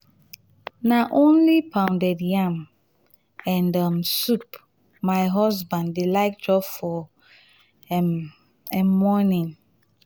na only pounded yam and um soup my husband dey like chop for um um morning.